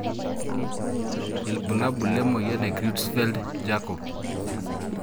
Ibulabul lemoyian e Creutzfeldt jakob.